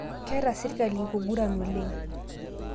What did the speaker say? Keeta sirkali nkuguran oleng